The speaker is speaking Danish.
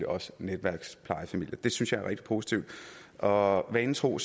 også netværksplejefamilier det synes jeg er rigtig positivt og vanen tro